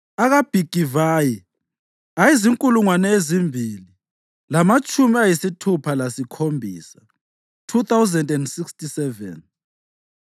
akaBhigivayi ayezinkulungwane ezimbili lamatshumi ayisithupha lasikhombisa (2,067),